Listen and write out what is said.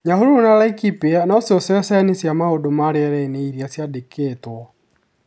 Nyahururu na Laikipia no cio ceceni cia mau͂ndu͂ ma ri͂era-ini͂ iri͂a ciandeketwo.